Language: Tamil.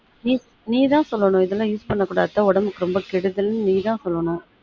நீ நீ தான் சொல்லனும் ரொம்ப use பண்ணக்கூடாது அத்த உடம்புக்கு ரொம்ப கெடுதல் நீ தான் சொல்லனும்